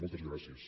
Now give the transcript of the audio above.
moltes gràcies